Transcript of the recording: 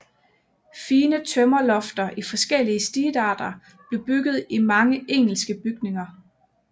Fine tømmerlofter i forskellige stilarter blev bygget i mange engelske bygninger